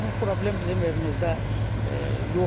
Bu problem bizim evimizdə yoxdur.